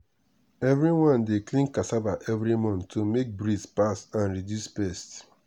everyone dey clean cassava every month to make breeze pass and reduce pest.